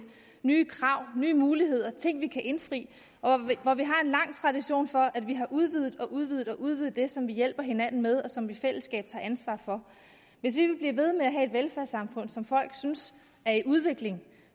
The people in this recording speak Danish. nye krav nye muligheder ting vi kan indfri og hvor vi har en lang tradition for at vi har udvidet og udvidet og udvidet det som vi hjælper hinanden med og som vi i fællesskab tager ansvar for hvis vi vil blive ved med at have et velfærdssamfund som folk synes er i udvikling